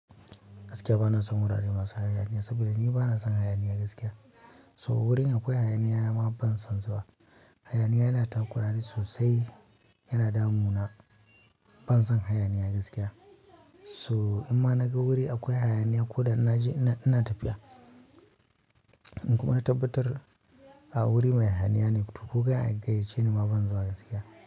Gaskiya bana son wurare masu hayaniya saboda ni bana son hayaniya gaskiya. So wurin akwai hayaniya na ma ban son zuwa. Hayaniya yana tunkurani sosai yana damu na, ban son hayaniya gaskiya. So in ma naga wuri akwai hayaniya ko da na je ina tafiya. In kuma na tabbatar a wuri mai hayaniya ne to ko ka gayyace ni ma ban zuwa gaskiya.